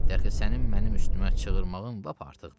Dərxi sənin mənim üstümə çığırığmın lap artıqdı.